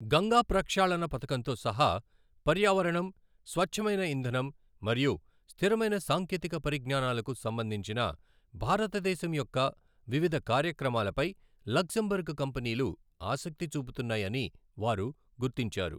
గంగా ప్రక్షాళణ పధకంతో సహా పర్యావరణం, స్వచ్ఛమైన ఇంధనం మరియు స్థిరమైన సాంకేతిక పరిజ్ఞానాలకు సంబంధించిన భారతదేశం యొక్క వివిధ కార్యక్రమాలపై లక్సెంబర్గ్ కంపెనీలు ఆసక్తి చూపుతున్నాయని వారు గుర్తించారు.